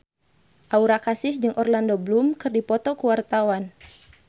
Aura Kasih jeung Orlando Bloom keur dipoto ku wartawan